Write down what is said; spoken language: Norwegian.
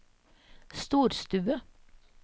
storstue